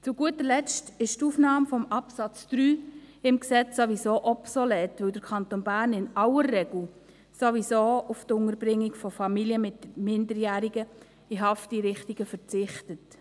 Zu guter Letzt ist die Aufnahme von Absatz 3 im Gesetz obsolet, weil der Kanton Bern in aller Regel ohnehin auf die Unterbringung von Familien mit Minderjährigen in Hafteinrichtungen verzichtet.